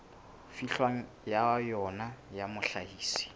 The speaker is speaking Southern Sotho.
fihlwang ho yona ya mohlahisi